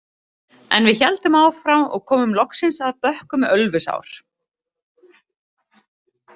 En við héldum áfram og komum loks að bökkum Ölfusár.